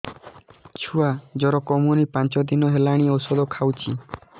ଛୁଆ ଜର କମୁନି ପାଞ୍ଚ ଦିନ ହେଲାଣି ଔଷଧ ଖାଉଛି